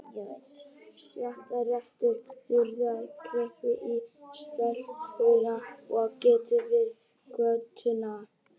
Stjáni rétti úr sér, greip í stelpurnar og gekk yfir götuna.